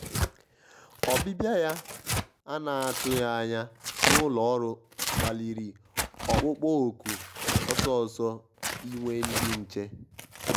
ọ́bịbịá yá à nà-àtụghí ányá n’úlọ́ ọ́rụ́ kpálirì ọ́kpụ́kpọ́ òkù ọ́sọ́ọ́sọ́ ínwé ndí nché.